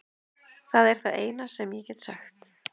Það er það eina sem ég get sagt.